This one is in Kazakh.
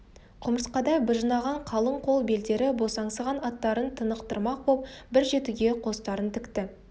құмырсқадай быжынаған қалың қол белдері босаңсыған аттарын тынықтырмақ боп бір жетіге қостарын тікті